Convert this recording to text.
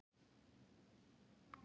Veistu eitthvað meira um það?